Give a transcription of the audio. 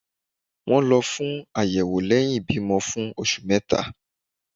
wón lọ fún ayewo lẹhin ibimọ fún oṣù meta